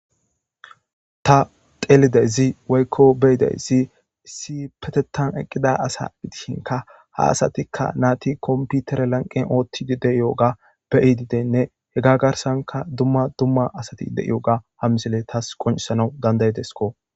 Ta xeelidayisi woyikko beidayisi issi payateththa I eqida asa gidishshinkka ta nati komipitere laniqeni ooththidi diyoga beidinne heyita garisani dumma dumma asi tasi deeiyoga ha misileyi tasi qoniccisanawu danidaidesikko